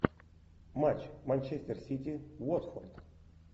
матч манчестер сити уотфорд